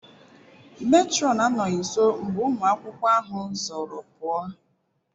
Matron anọghị nso mgbe ụmụ akwụkwọ ahụ zoro pụa.